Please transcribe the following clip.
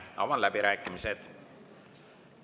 Avan läbirääkimised.